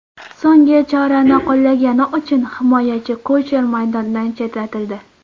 So‘nggi chorani qo‘llagani uchun himoyachi Kucher maydondan chetlatildi.